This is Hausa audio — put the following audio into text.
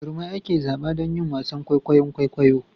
Jarumai ake zaba don yin wasan kwaikwayon kwaikwayo